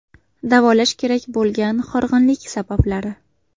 Davolash kerak bo‘lgan horg‘inlik sabablari.